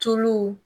Tulu